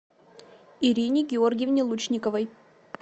ирине георгиевне лучниковой